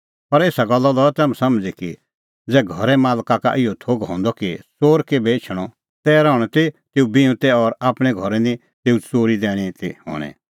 पर एसा गल्ला लऐ तम्हैं समझ़ी कि ज़ै घरे मालका का इहअ थोघ हंदअ कि च़ोर केभै एछणअ तै रहणअ त तेऊ बिऊंतै और आपणैं घरै निं तेऊ च़ोरी दैणीं ती हणैं